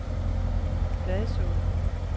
Fladså